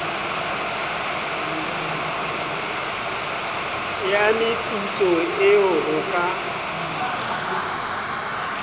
ya meputso eo ho ka